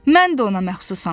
Mən də ona məxsusam.